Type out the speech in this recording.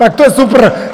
Tak to je super!